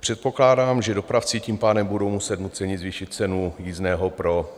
Předpokládám, že dopravci tím pádem budou muset nuceně zvýšit cenu jízdného pro